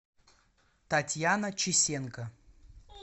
татьяна чесенко